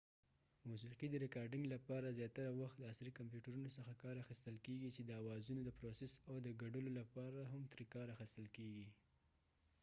موسیقی د ریکارډنګ لپاره زیاتره وخت د عصری کمپیوټرونو څخه کار اخستل کېږی چې د اوازونو دپروسس او د ګډولو لپاره هم تری کار اخستل کېږی